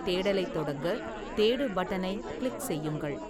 தேடலைத் தொடங்க, "தேடு" பட்டனைக் கிளிக் செய்யுங்கள்.